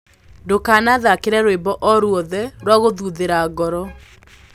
ndukana thakire rwĩmbo o ruothe rwa guthuthira ngoro